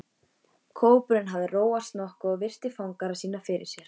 Kópurinn hafði róast nokkuð og virti fangara sína fyrir sér.